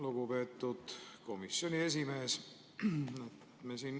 Lugupeetud komisjoni esimees!